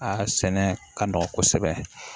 Aa sɛnɛ ka nɔgɔ kosɛbɛ